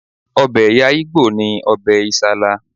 Ọbẹ̀ ẹ̀̀yà ìgbò ni ọbẹ̀ Isala